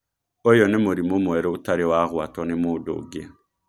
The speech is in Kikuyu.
ũyũ nĩ mũrimũ mwerũ ũtarĩ wagwatwo nĩ mũndũ ũngi.